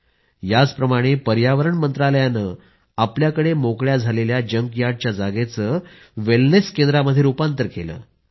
याचप्रमाणं पर्यावरण मंत्रालयानं आपल्याकडे मोकळ्या झालेल्या जंकयार्डच्या जागेचं वेलनेस केंद्रामध्ये रूपांतर केलं आहे